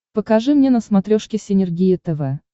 покажи мне на смотрешке синергия тв